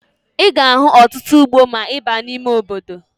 Ị ga-ahụ ọtụtụ ugbo ma ị baa n'ime obodo